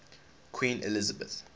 queen elizabeth